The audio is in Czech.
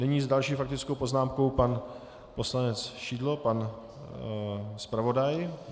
Nyní s další faktickou poznámkou pan poslanec Šidlo, pan zpravodaj.